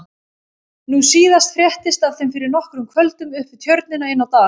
Nú síðast fréttist af þeim fyrir nokkrum kvöldum upp við Tjörnina inni á Dal.